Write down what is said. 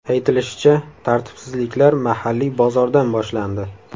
Aytilishicha, tartibsizliklar mahalliy bozordan boshlandi.